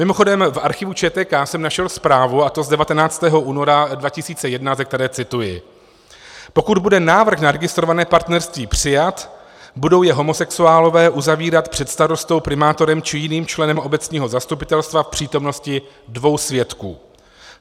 Mimochodem v archivu ČTK jsem našel zprávu, a to z 19. února 2001, ze které cituji: "Pokud bude návrh na registrované partnerství přijat, budou je homosexuálové uzavírat před starostou, primátorem či jiným členem obecního zastupitelstva v přítomnosti dvou svědků.